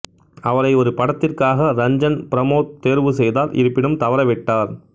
அவரை ஒரு படத்திற்காக ரஞ்சன் பிரமோத் தேர்வு செய்தார் இருப்பினும் தவறவிட்டார்